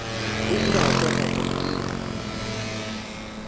o ile a tšwa faporiking